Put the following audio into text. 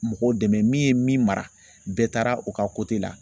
Mɔgɔw dɛmɛ min ye min mara bɛɛ taara u ka la.